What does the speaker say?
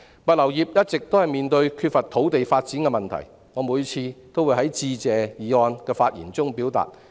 物流業一直面對缺乏土地發展的問題，我每次都會在致謝議案辯論的發言中提出。